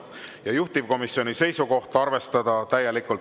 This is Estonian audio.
Ja juhtivkomisjoni seisukoht: arvestada täielikult.